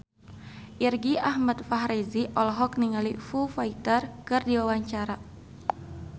Irgi Ahmad Fahrezi olohok ningali Foo Fighter keur diwawancara